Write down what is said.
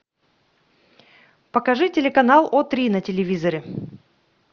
покажи телеканал о три на телевизоре